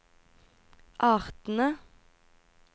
artene